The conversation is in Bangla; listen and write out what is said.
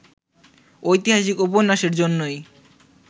ঐতিহাসিক উপন্যাসের জন্যই